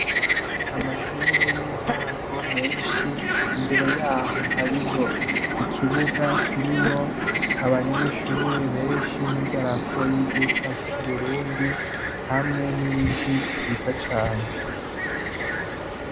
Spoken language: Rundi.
Amashure yintango menshi imbere yaho hariho ikibuga kirimwo abanyeshure benshi idarapo yigihugu cacu cuburundi hamwe nibiti vyiza cane